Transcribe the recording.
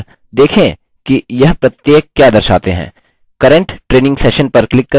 current training session पर click करें